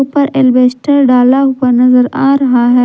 उपर अल्बेस्टर डाला हुआ नजर आ रहा है।